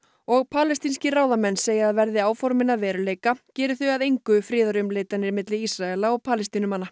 og palestínskir ráðamenn segja að verði áformin að veruleika geri þau að engu friðarumleitanir milli Ísraela og Palestínumanna